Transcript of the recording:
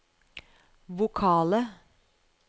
vokale